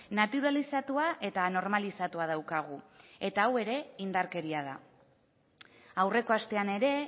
naturalizatua eta normalizatua daukagu eta hau ere indarkeria da aurreko astean ere